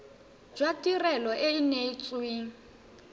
jwa tirelo e e neetsweng